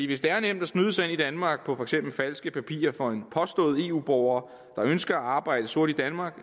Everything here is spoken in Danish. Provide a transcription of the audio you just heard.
hvis det er nemt at snyde sig ind i danmark på for eksempel falske papirer for en påstået eu borger der ønsker at arbejde sort i danmark